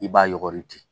I b'a yɔgɔri ten